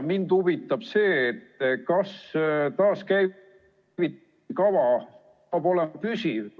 Mind huvitab see, kas taaskäivitamiskava peab olema püsiv.